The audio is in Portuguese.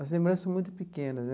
As lembranças são muito pequenas.